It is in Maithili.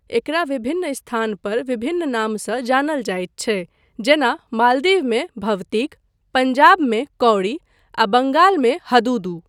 एकरा विभिन्न स्थानपर विभिन्न नामसँ जानल जाइत छै जेना मालदीवमे 'भवतिक', पँजाबमे 'कौड़ी', आ बँगालमे 'हदुदू'।